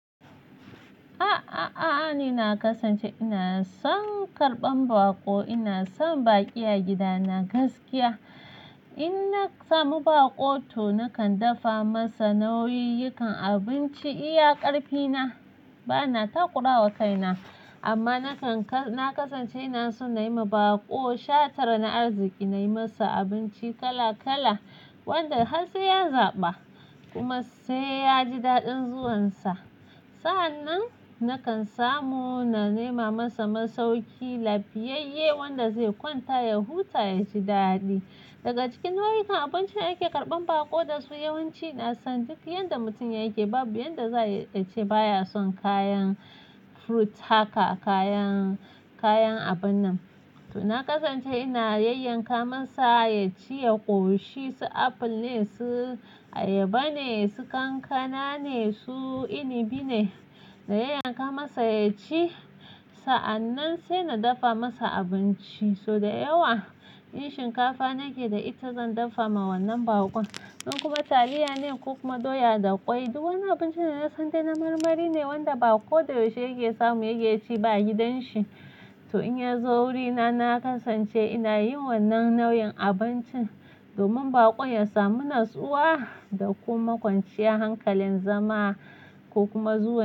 A a a a, ni na kasance ina son karɓan baƙo, ina son baƙi a gidana gaskiya. In na samu baƙo to nakan dafa masa nau'yikan abinci iya ƙarfina. Bana takura wa kaina amma na na kasance ina son na yi ma baƙo shatar na arziki, na yi masa abinci kala kala. Wanda har sai ya zaɓa kuma sai ya ji daɗin zuwansa. Sa'an nan nakan samu na nema masa masauki lafiyayye wanda zai kwanta ya huta ya ji daɗi. Daga cikin nau'ikan abincin da ake karɓan baƙo da su yawanci na san duk yadda mutum yake babu yadda zai ace baya son kayan fruit haka, kayan, kayan abun nan. To na kasance ina yayyanka masa ya ci, ya ƙoshi, su aful ne, su ayaba ne, su kankana ne, su inibi ne, na yayyanka masa ya ci. Sa'an nan sai na dafa masa abinci. So da yawa in shinkafa nake da ita zan dafa ma wannan baƙon, in kuma taliya ne, ko kuma uma, doya da ƙwai. Du wanni abincin da na san dai na marmari ne wanda bako da yaushe yake samu yake ci ba gidan shi. To in ya zo wurina na kasance ina yin wannan nau'in abincin, domin baƙon ya samu natsuwa da kuma kwanciya hankalin zama ko kuma zuwa.